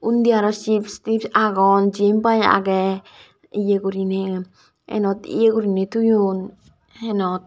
undi aro chips tips agon jen pai agey ye guriney enot ye guriney toyon enot.